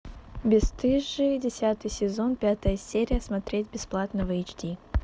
бесстыжие десятый сезон пятая серия смотреть бесплатно в эйч ди